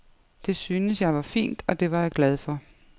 Det syntes jeg var fint, og det var jeg glad for.